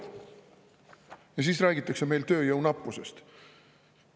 Ja siis räägitakse meil tööjõu nappusest.